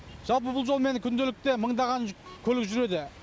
жалпы бұл жолмен күнделікті мыңдаған көлік жүреді